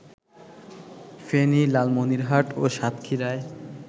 ফেনী, লালমনিরহাট ও সাতক্ষীরায়